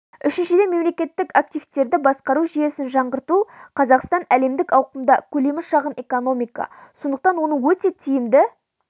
үшіншіден мемлекеттік активтерді басқару жүйесін жаңғырту қазақстан әлемдік ауқымда көлемі шағын экономика сондықтан оны өте тиімді